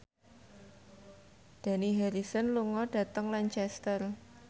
Dani Harrison lunga dhateng Lancaster